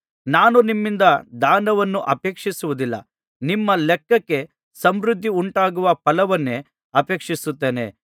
ನಾನು ನಿಮ್ಮಿಂದ ದಾನವನ್ನು ಅಪೇಕ್ಷಿಸುವುದಿಲ್ಲ ನಿಮ್ಮ ಲೆಕ್ಕಕ್ಕೆ ಸಮೃದ್ಧಿಯುಂಟಾಗುವ ಫಲವನ್ನೇ ಅಪೇಕ್ಷಿಸುತ್ತೇನೆ